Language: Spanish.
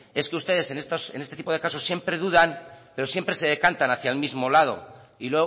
es que ustedes en este tipo de casos siempre dudan pero siempre se decantan hacia el mismo lado y